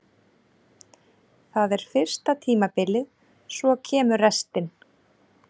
Það er fyrsta tímabilið, svo kemur restin.